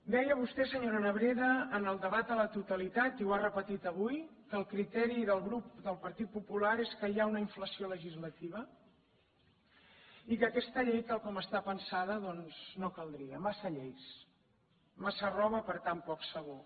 deia vostè senyora nebrera en el debat a la totalitat i ho ha repetit avui que el criteri del grup del partit popular és que hi ha una inflació legislativa i que aquesta llei tal com està pensada doncs no caldria massa lleis massa roba per tan poc sabó